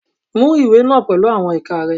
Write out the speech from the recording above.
Mú ìwé náà pẹ̀lú àwọn ìka rẹ.